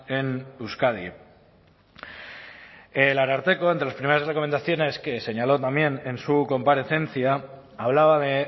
en euskadi el ararteko entre las primeras recomendaciones que señaló también en su comparecencia hablaba de